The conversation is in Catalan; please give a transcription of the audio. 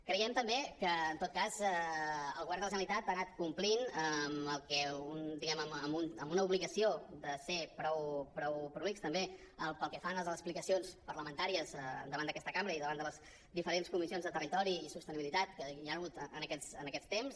creiem també que en tot cas el govern de la generalitat ha anat complint diguem ne amb una obligació de ser prou prolixa també pel que fa a les explicacions parlamentàries davant d’aquesta cambra i davant de les diferents comissions de territori i sostenibilitat que hi han hagut en aquests temps